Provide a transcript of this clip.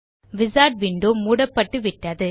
wizard window மூடப்பட்டு விட்டது